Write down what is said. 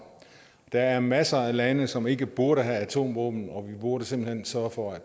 der er masser af lande som ikke burde have atomvåben og burde simpelt hen sørge for at